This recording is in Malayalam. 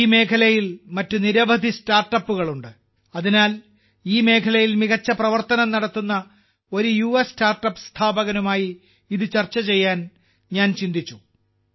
ഈ മേഖലയിൽ മറ്റ് നിരവധി സ്റ്റാർട്ടപ്പുകൾ ഉണ്ട് അതിനാൽ ഈ മേഖലയിൽ മികച്ച പ്രവർത്തനം നടത്തുന്ന ഒരു യുവ സ്റ്റാർട്ടപ്പ് സ്ഥാപകനുമായി ഇത് ചർച്ച ചെയ്യാൻ ഞാൻ ചിന്തിച്ചു